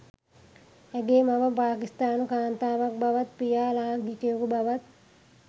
ඇගේ මව පාකිස්තානු කාන්තාවක් බවත් පියා ලාංකිකයකු බවත්